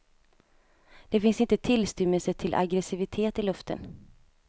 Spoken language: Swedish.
Det finns inte tillstymmelse till aggressivitet i luften.